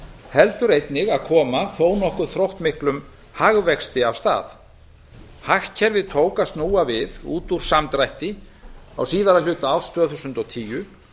héldu einnig að koma þó nokkuð þróttmiklum hagvexti af stað hagkerfið tók að snúa við út úr samdrætti á síðari hluta árs tvö þúsund og tíu